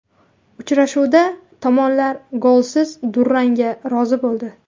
Uchrashuvda tomonlar golsiz durangga rozi bo‘ldi.